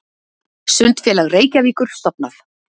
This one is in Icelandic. Sundfélag Reykjavíkur stofnað.